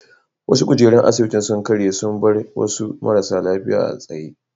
Wasu kujerun asibitin sun karye sun bar wasu marasa lafiya a tsaye.